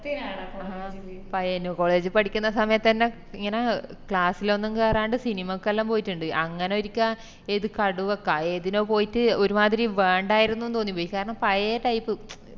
Payyanur college ല് പഠിക്കുന്ന സമയത്തെന്നെ ഇങ്ങനെ class ലൊന്നും കേറാണ്ട് cinema ക്കെല്ലം പോയിറ്റിണ്ട് അങ്ങനെ ഒരിക്ക ഏത് കടുവക്ക ഏതിനോ പോയിറ്റ് ഒരുമാതിരി വേണ്ടായിരുന്നു ന്ന് തോന്നിപ്പോയി കാരണം പഴെയ type